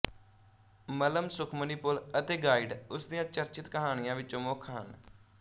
ਮੱਲ੍ਹਮ ਸੁਖਮਣੀ ਪੁਲ ਅਤੇ ਗਾਈਡ ਉਸਦੀਆਂ ਚਰਚਿਤ ਕਹਾਣੀਆਂ ਵਿਚੋਂ ਮੁੱਖ ਹਨ